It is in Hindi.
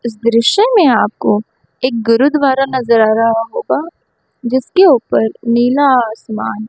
इस दृश्य में आपको एक गुरुद्वारा नजर आ रहा होगा जिसके ऊपर नीला आसमान--